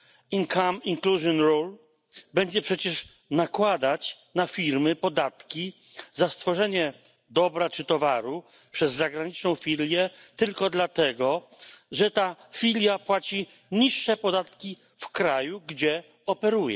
Income inclusion role będzie przecież nakładać na firmy podatki za stworzenie dobra czy towaru przez zagraniczną filię tylko dlatego, że filia ta płaci niższe podatki w kraju, gdzie działa.